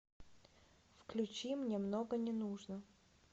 включи мне много не нужно